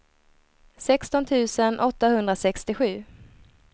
sexton tusen åttahundrasextiosju